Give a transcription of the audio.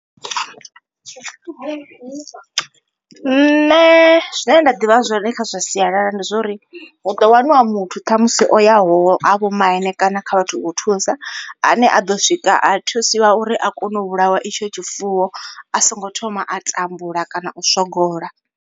Nṋe zwine nda ḓivha zwone kha zwa sialala ndi zwo uri hu ḓo waniwa muthu ṱhamusi o yaho ha vho maine kana kha vhathu vho thusa ane a ḓo swika a thusiwa uri a kone u vhulawa itsho tshifuwo a songo thoma a tambula kana u swogola.